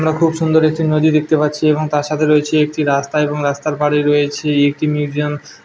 আমরা খুব সুন্দর একটি নদী দেখতে পাচ্ছি এবং তার সাথে রয়েছে একটি রাস্তা এবং রাস্তার পারে রয়েছে একটি মিউজিয়াম ।